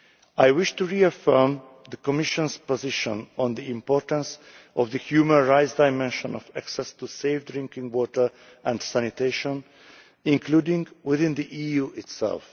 I wish to reaffirm the Commission's position on the importance of the human rights dimension of access to safe drinking water and sanitation, including within the EU itself.